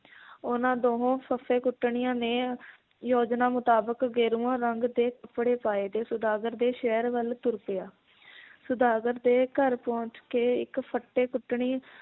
ਉਹਨਾਂ ਦੋਹੋਂ ਫੱਫੇ ਕੁੱਟਣੀਆਂ ਨੇ ਯੋਜਨਾ ਮੁਤਾਬਕ ਗੇਰੂਆਂ ਰੰਗ ਦੇ ਕੱਪੜੇ ਪਾਏ ਤੇ ਸੌਦਾਗਰ ਦੇ ਸ਼ਹਿਰ ਵੱਲ ਤੁਰ ਪਿਆ ਸੌਦਾਗਰ ਦੇ ਘਰ ਪਹੁੰਚ ਕੇ ਇੱਕ ਫੱਟੇ ਕੁੱਟਣੀ